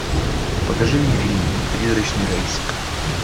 покажи мне фильм призрачный рейс